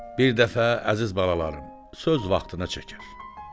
Bir dəfə, əziz balalarım, söz vaxtında çəkər.